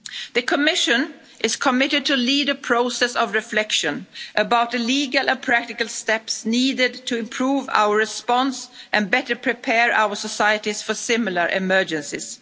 reflection. The Commission is committed to lead a process of reflection about the legal and practical steps needed to improve our response and better prepare our societies for similar emergencies.